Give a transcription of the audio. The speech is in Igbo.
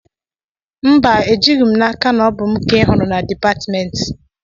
Mba, ejighị m n'aka na ọ bụ mụ ka ị hụrụ na dịpatmentị